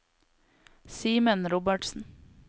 Simen Robertsen